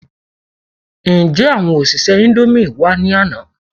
Ǹjé àwọn òṣìṣẹ́ indomie wá ní àná?